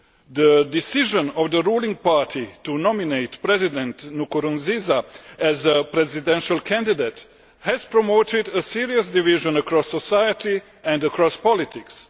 The decision of the ruling party to nominate President Nkurunziza as presidential candidate has promoted a serious division across society and across politics.